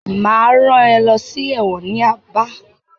Máa rán ẹ lọ sí ẹ̀wọ̀n ní Aba.